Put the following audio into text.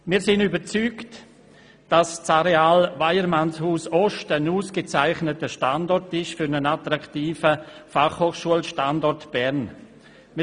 Wir sind überzeugt, dass das Areal Weyermannshaus Ost ein ausgezeichneter Standort für einen attraktiven BFHStandort in Bern ist.